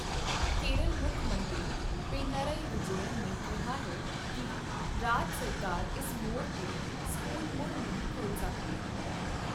ਕੇਰਲ ਮੁੱਖ ਮੰਤਰੀ ਪਿਨਾਰਯੀ ਵਿਜੇਯਨ ਨੇ ਕਿਹਾ ਹੈ ਕੀ ਰਾਜ ਸਰਕਾਰ ਇਸ ਮੋੜ ਤੇ ਸਕੂਲ ਮੁੜ ਨਹੀਂ ਖੋਲ ਸਕਦੀ।